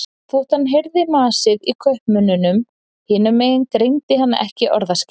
Þótt hann heyrði masið í kaupmönnunum hinum megin greindi hann ekki orðaskil.